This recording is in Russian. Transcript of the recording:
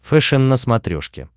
фэшен на смотрешке